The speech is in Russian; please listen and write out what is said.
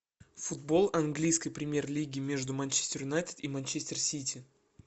футбол английской премьер лиги между манчестер юнайтед и манчестер сити